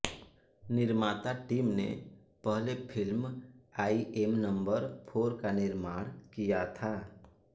निर्माता टीम ने पहले film I am number four का निर्माण किया था